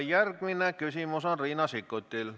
Järgmine küsimus on Riina Sikkutil.